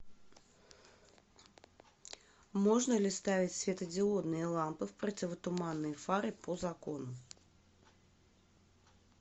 можно ли ставить светодиодные лампы в противотуманные фары по закону